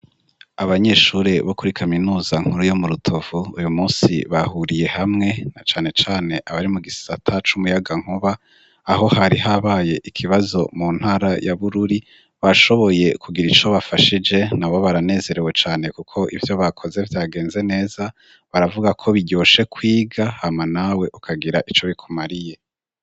Abanyeshuri bo kuri kaminuza nkuru yo mu Rutovu ,uyu munsi bahuriye hamwe na cane cane abari mu gisata c'umuyaga nkuba, aho hari habaye ikibazo mu ntara ya Bururi bashoboye kugira ico bafashije nabo baranezerewe cane kuko ivyo bakoze vyagenze neza baravuga ko biryoshe kwiga hama nawe ukagira ico bikumariye.